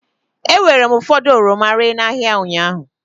E weere m ụfọdụ oroma ree n'ahịa ụnyaahụ.